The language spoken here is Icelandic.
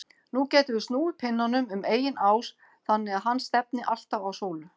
Nú getum við snúið pinnanum um eigin ás þannig að hann stefni alltaf á sólu.